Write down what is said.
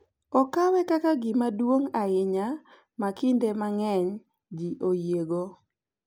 okawe kaka gima duong’ ahinya ma kinde mang’eny ji oyiego, .